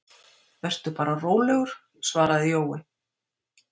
Vertu bara rólegur, svaraði Jói.